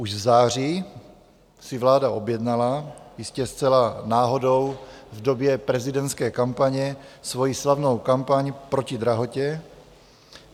Už v září si vláda objednala, jistě zcela náhodou v době prezidentské kampaně, svoji slavnou kampaň proti drahotě.